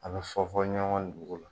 A bɛ fɔ fɔ ɲɔgɔn kɔ dugu la.